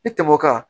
I tɛmɛ o kan